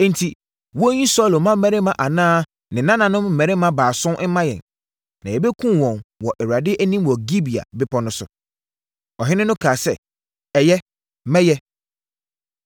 Enti, wɔnyi Saulo mmammarima anaa ne nananom mmarima baason mma yɛn, na yɛbɛkum wɔn wɔ Awurade anim wɔ Gibea bepɔ no so.” Ɔhene no kaa sɛ, “Ɛyɛ. Mɛyɛ.”